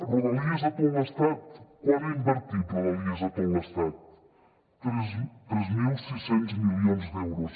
rodalies a tot l’estat quant ha invertit rodalies a tot l’estat tres mil sis cents milions d’euros